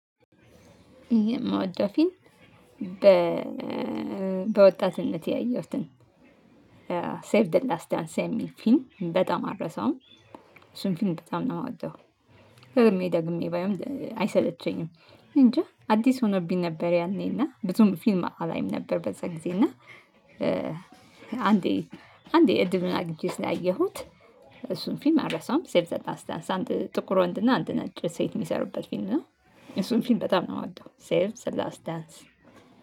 መወደው ፊልም በወጣትነቴ ያየሁትን ሴቭ ዘ ላስት ዳንስ የሚል ፊልም በጣም አልረሳውም እሱን ፊልም በጣም ነው የምወደው ደግሜ ደግሜ ባየውም አይሰለቸኝም። እኔ እንጃ አዲስ ሆኖብኝ ነበር ያኔና ብዙም ፊልም አላይም ነበር በዛ ጊዜ እና አንዴ አንዴ እድሉን አግኝቼ ስላየሁት እሱን ፊልም አልረሳም። ሴቭ ዘ ላሳት ዳንስ አንድ ጥቁር ወንድና አንድ ነጭ ሴት የሚሰሩበት ፊልም ነው። እሱን ፊልም በጣም ነው የምወደው ሴቨ ዘ ላስት ዳንስ።